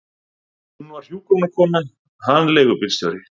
Hún var hjúkrunarkona, hann leigubílstjóri.